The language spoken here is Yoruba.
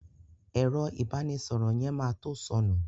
Ẹ̀rọ ìbánísọ̀rọ̀ yẹn ma to sọnù